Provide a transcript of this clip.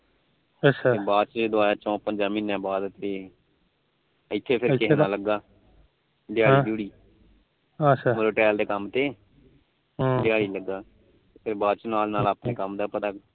ਬਅਦ ਚੋ ਇਹ ਆਇਆ ਚੋ ਪੰਜਾ ਮਹੀਨਿਆਂ ਬਾਅਦ ਹਮ ਇਥੇ ਫਿਰ ਦਿਹਾੜੀ ਦਿਹੁੜੀ ਮਤਲਬ ਟੈਲ ਦੇ ਕੰਮ ਤੇ ਅੱਛਾ ਦਿਹਾੜੀ ਲੱਗਾ ਫਿਰ ਬਾਅਦ ਚੋ ਆਪਣੇ ਕੰਮ ਦਾ ਪਤਾ